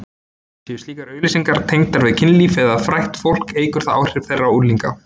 Séu slíkar auglýsingar tengdar við kynlíf eða frægt fólk eykur það áhrif þeirra á unglinga.